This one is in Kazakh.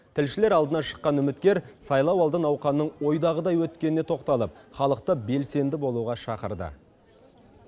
тілшілер алдына шыққан үміткер сайлауалды науқанның ойдағыдай өткеніне тоқталып халықты белсенді болуға шақырды